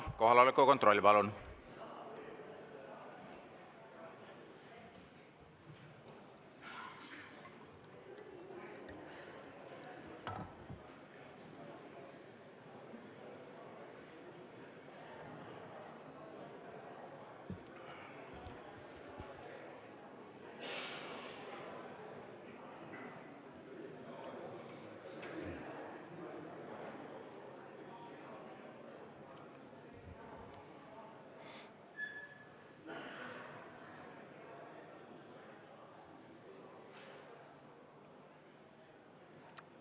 Kohaloleku kontroll, palun!